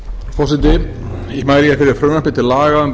forseti ég mæli fyrir frumvarpi til laga um